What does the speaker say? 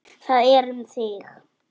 Það er um þig.